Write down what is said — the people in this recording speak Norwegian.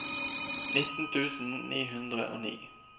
nitten tusen ni hundre og ni